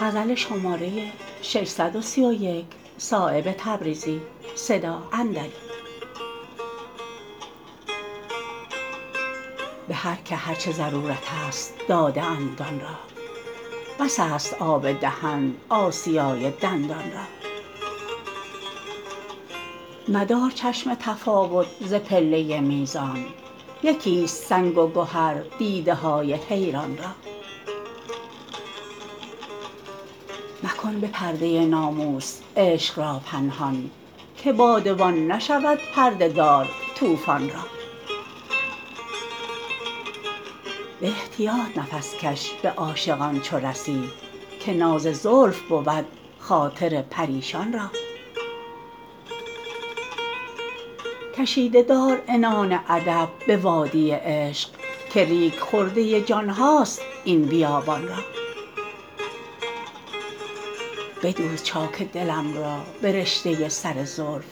به هر که هر چه ضرورست داده اند آن را بس است آب دهن آسیای دندان را مدار چشم تفاوت ز پله میزان یکی است سنگ و گهر دیده های حیران را مکن به پرده ناموس عشق را پنهان که بادبان نشود پرده دار طوفان را به احتیاط نفس کش به عاشقان چو رسی که ناز زلف بود خاطر پریشان را کشیده دار عنان ادب به وادی عشق که ریگ خرده جانهاست این بیابان را بدوز چاک دلم را به رشته سر زلف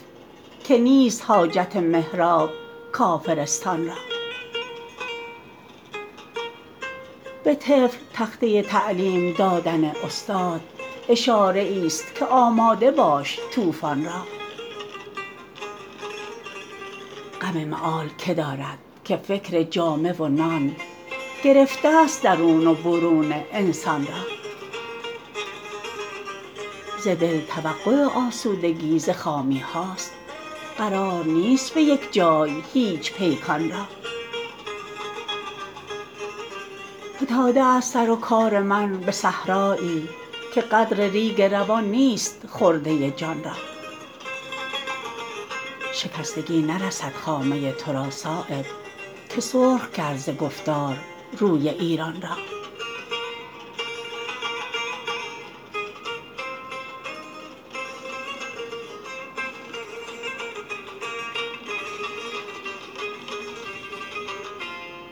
که نیست حاجت محراب کافرستان را به طفل تخته تعلیم دادن استاد اشاره ای است که آماده باش طوفان را غم مآل که دارد که فکر جامه و نان گرفته است درون و برون انسان را ز دل توقع آسودگی ز خامی هاست قرار نیست به یک جای هیچ پیکان را فتاده است سر و کار من به صحرایی که قدر ریگ روان نیست خرده جان را شکستگی نرسد خامه ترا صایب که سرخ کرد ز گفتار روی ایران را